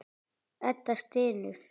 Edda stynur.